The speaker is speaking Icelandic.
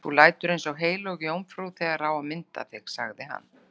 Þú lætur eins og heilög jómfrú þegar á að mynda þig, sagði hann.